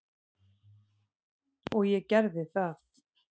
Og ég gerði það.